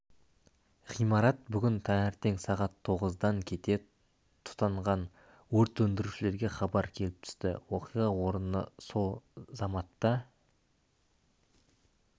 ғимарат бүгін таңертең сағат тоғыздан кете тұтанған өрт сөндірушілерге хабар келіп түсіпті оқиға орнына сол заматта